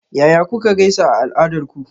Yaya kuka gaisa a al'adarku?